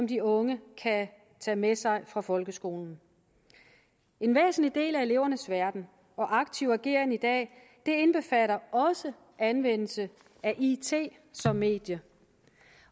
de unge kan tage med sig fra folkeskolen en væsentlig del af elevernes verden og aktive ageren i dag indbefatter også anvendelse af it som medie